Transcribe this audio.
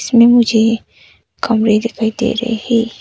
इसमें मुझे कमरे दिखाई दे रहे है।